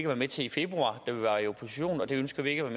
være med til i februar da vi var i opposition og det ønsker vi ikke at